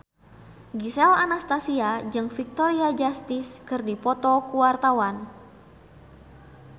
Gisel Anastasia jeung Victoria Justice keur dipoto ku wartawan